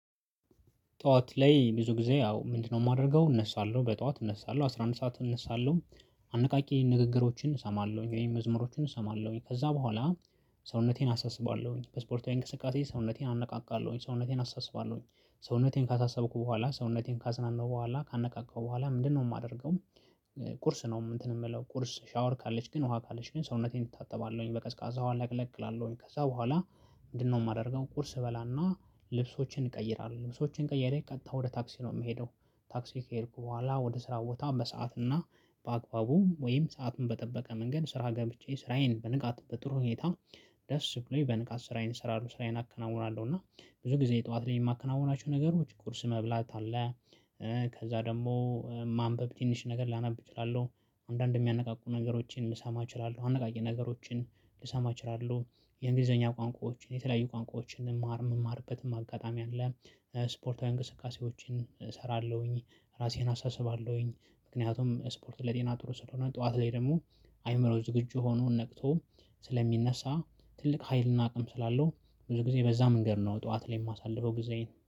ጠዋት ላይ ብዙ ጊዜ ያው ምንድነው? የማደርገው እነሳለሁ በጠዋት እነሳለሁ አስራ አንድ ሰዓት እነሳለሁ። አነቃቂ ንግግሮችን እሰማለሁኝ ወይም መዝሙሮችን እሰማለሁኝ ከዛ በኋላ። ሰውነቴን አሳስባለሁኝ በስፖርታዊ እንቅስቃሴ ሰውነቴን አነቃቃለሁኝ ሰውነቴን አስስባለሁኝ። ሰውነቴን ካሳሰብኩ በኋላ ሰውነቴን ካዝናነው በኋላ ካነቃቃው በኋላ ምንድነው የማደርገው? ቁርስ ነው እንትን የምለው ቁርስ ሻወር ካለች ግን ውሃ ካለች ግን ሰውነቴን እታጠባለሁኝ በቀዝቃዛው ለቅለቅ እላለሁኝ ከዛ በኋላ። ምንድነው የማደርገው ቁርስ እበላና ልብሶችን እቀይራለሁ ልብሶችን ቀይሬ ቀጥታ ወደ ታክሲ ነው የምሄደው። ታክሲ ከሄድኩ በኋላ ወደ ስራ ቦታ በሰአት እና በአግባቡ ወይም ሰአቱን በጠበቀ መንገድ ስራ ገብቼ ስራዬን በንቃት በጥሩ ሁኔታ። ደስ ብሎኝ በንቃት ስራዬን ስራው ስራዬን አከናውናለሁ። እና ብዙ ጊዜ ጠዋት ላይ የማከናውናቸው ነገሮች ቁርስ መብላት አለ። ከዛ ደግሞ ማንበብ ትንሽ ነገር ላነብ እችላለሁ። አንዳንዴ የሚያነቃቁ ነገሮችን ሊሰማ እችላለሁ አነቃቂ ነገሮችን ልሰማ እችላለሁ። የእንግሊዘኛ ቋንቋዎችን የተለያዩ ቋንቋዎችን መማር መማርበትም አጋጣሚ አለ። ስፖርታዊ እንቅስቃሴዎችን እሰራለሁኝ ራሴን አሳስባለሁኝ ምክንያቱም ስፖርት ለጤና ጥሩ ስለሆነ። ጠዋት ላይ ደግሞ አይምሮ ዝግጁ ሆኖ ነቅቶ ስለሚነሳ ትልቅ ሀይልና አቅም ስላለው። ብዙ ጊዜ በዛ መንገድ ነው ጠዋት ላይ የማሳልፈው ጊዜ።